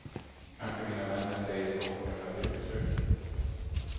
Kanske dina vänner säger så på grund av grupptrycket.